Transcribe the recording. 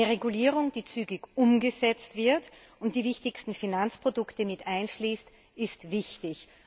Eine Regulierung, die zügig umgesetzt wird und die wichtigsten Finanzprodukte mit einschließt, ist wichtig.